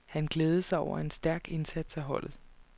Han glædede sig over en stærk indsats af holdet.